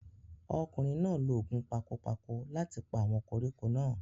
ọkùnrin náà lo ògùn pakopako láti pa àwọn koríko náà